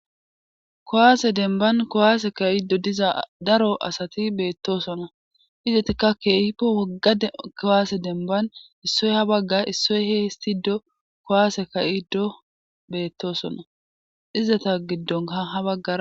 kowaase demban kowaase ka7iddo diza daro asati beettosona izetikka keehippo wogga kowaase denban issoy ha bagga issoy he histido kowaase ka7iddo beettosona izata giddonka ha bagga